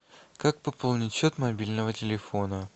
как пополнить счет мобильного телефона